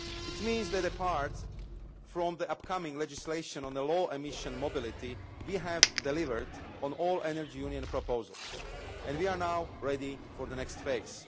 It means that, apart from the upcoming legislation on the low emission mobility, we have delivered on all Energy Union proposals, and we are now ready for the next phase.